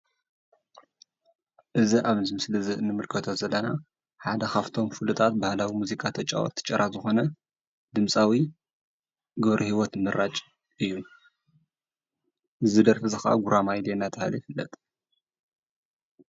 እዚ ኣብ ምስሊ እንምልከቶ ዘለና ሓደ ካብቶም ፍሉጣት ባህላዊ ሙዚቃ ተጫወቲ ጭራ ዝኾነ ድምፃዊ ገብረህይወት ምራጭ እዩ እዚ ደርፊ እዚ ኸዓ ጉራማይለ እንዳተብሃለ ይፍለጥ።